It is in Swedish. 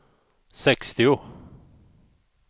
sextio